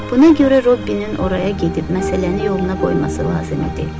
Buna görə Robbinin oraya gedib məsələni yoluna qoyması lazım idi.